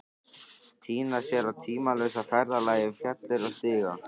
Týna sér á tímalausa ferðalagi um fjalir og stiga.